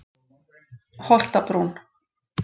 Holtabrún